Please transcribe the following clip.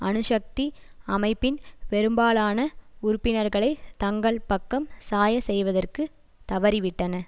அணுசக்தி அமைப்பின் பெரும்பாலான உறுப்பினர்களை தங்கள் பக்கம் சாயச் செய்வதற்கு தவறிவிட்டன